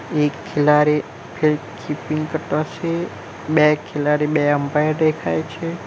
એક ખિલાડી field keeping કરતો છે બે ખેલાડી બે અમ્પાયર દેખાય છે.